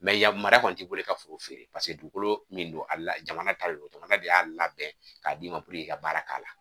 yamaruya kɔni t'i bolo i ka foro in feere paseke dugukolo min do jamana ta de do jamana de y'a labɛn k'a d'i ma puruke i ka baara k'a la.